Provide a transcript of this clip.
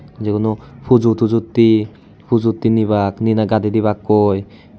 Jiguno pujo tujottei pujotte nibak ninai gadey dibakkoi.